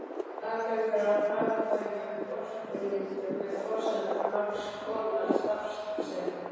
Aðgangur að hagkvæmum orkulindum er forsenda margs konar starfsemi.